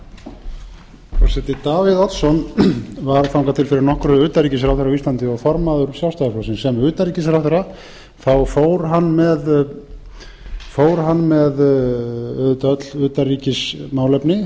frú forseti davíð oddsson var þangað til fyrir nokkru utanríkisráðherra á íslandi og formaður sjálfstæðisflokksins sem utanríkisráðherra fór hann auðvitað með öll utanríkismálefni